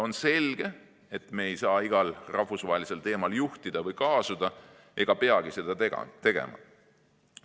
On selge, et me ei saa igal rahvusvahelisel teemal juhtida või kaasuda ega peagi seda tegema.